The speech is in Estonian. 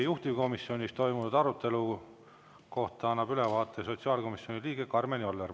Juhtivkomisjonis toimunud arutelu kohta annab ülevaate sotsiaalkomisjoni liige Karmen Joller.